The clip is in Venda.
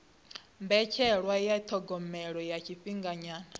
mbetshelwa ya thogomelo ya tshifhinganyana